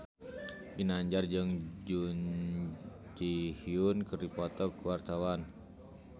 Ginanjar jeung Jun Ji Hyun keur dipoto ku wartawan